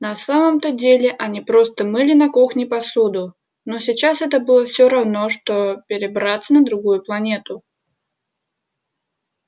на самом-то деле они просто мыли на кухне посуду но сейчас это было всё равно что перебраться на другую планету